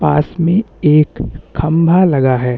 पास में एक खंभा लगा है।